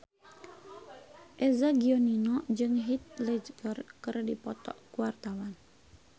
Eza Gionino jeung Heath Ledger keur dipoto ku wartawan